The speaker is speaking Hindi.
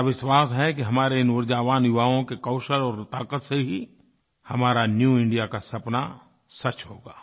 मेरा विश्वास है कि हमारे इन ऊर्जावान युवाओं के कौशल और ताक़त से ही हमारा न्यू इंडिया का सपना सच होगा